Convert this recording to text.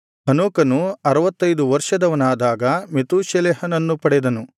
ಹನೋಕನು ಅರುವತ್ತೈದು ವರ್ಷದವನಾದಾಗ ಮೆತೂಷೆಲಹನನ್ನು ಪಡೆದನು